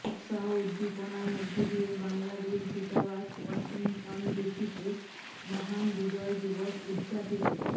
উৎসাহ উদ্দীপনার মধ্য দিয়ে বাংলাদেশ দূতাবাস ওয়াশিংটন ডিসিতে মহান বিজয় দিবস উদযাপিত